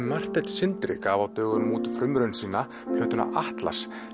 Marteinn Sindri gaf á dögunum út frumraun sína plötuna atlas